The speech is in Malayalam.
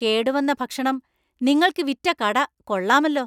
കേടുവന്ന ഭക്ഷണം നിങ്ങൾക്ക് വിറ്റ കട കൊള്ളാമല്ലോ!